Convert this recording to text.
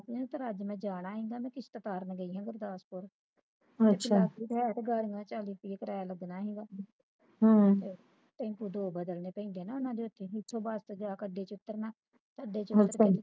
ਨਹੀਂ ਤਾ ਅੱਜ ਮੈਂ ਜਾਣਾ ਹੀ ਆ ਇਹਨਾਂ ਦੀ ਕਿਸ਼ਤ ਤਾਰਨ ਗੀ ਆ ਗੁਰਦਾਸਪੁਰ ਵਖਰਾਓ ਹੈ ਤਾ ਗਰਮੀ ਚਾਲੀ ਰੁਪਏ ਕਰਿਆ ਲੱਗਣਾ ਸੀ ਗਾ ਟੈਂਪੂ ਦੋ ਬਦਲਣੇ ਪੈਂਦੇ ਨੇ ਉਹਨਾਂ ਦੇ ਇੱਥੇ ਉੱਥੇ ਬੱਸ ਦਾ ਗੱਡੀ ਚ ਉਤਰਨਾ ਆਡੇ ਚ